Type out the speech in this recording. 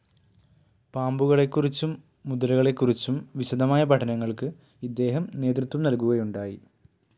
പാമ്പുകളെക്കുറിച്ചും മുതലകളെക്കുറിച്ചും വിശദമായ പഠനങ്ങൾക്ക് ഇദ്ദേഹം നേതൃത്വം നൽകുകയുണ്ടായി.